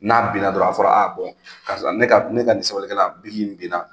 N'a binna dɔrɔn a fɔra a karisa ne ka ne ka sɛbɛnnikɛla binna